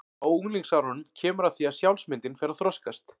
Á unglingsárunum kemur að því að sjálfsmyndin fer að þroskast.